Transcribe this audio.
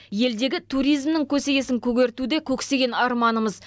елдегі туризмнің көсегесін көгерту де көксеген арманымыз